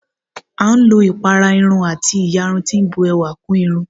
À ń lò ipárá Irún àti íyarún tí bùn èwà kún Irún